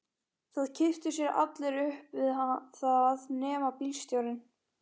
Það kipptu sér allir upp við það nema bílstjórinn.